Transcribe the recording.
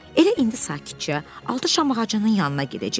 Elə indi sakitcə altı şam ağacının yanına gedəcək.